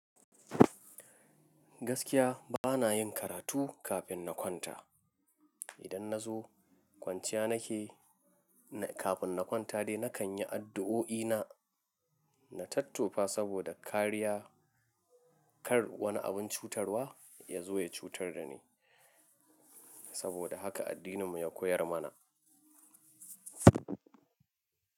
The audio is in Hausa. Gaskiya bana yin karatu kafin na kwanta. Idan na zo kwanciya nake, kafin na kwanta dai, na kan yi addu'o'i na, na tattofa saboda kariya, kar wani abin cutarwa ya zo ya cutar da ni. Saboda haka addininmu ya koyar mana.